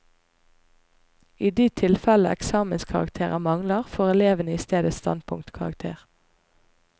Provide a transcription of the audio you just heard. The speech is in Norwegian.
I de tilfeller eksamenskarakterer mangler, får elevene i stedet standpunktkarakter.